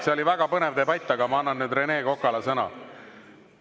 See oli väga põnev debatt, aga ma annan nüüd Rene Kokale sõna.